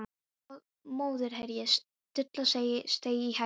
Mótherji Stulla steig í hægri fót.